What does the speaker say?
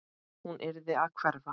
Hún yrði að hverfa.